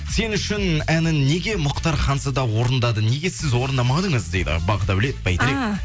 сен үшін әнін неге мұхтар ханзада орындады неге сіз орындамадыңыз дейді бақдәулет бәйтерек